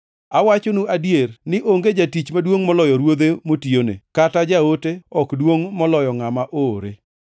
Awachonu adier ni onge jatich maduongʼ moloyo ruodhe motiyone, kata jaote ok duongʼ moloyo ngʼama oore.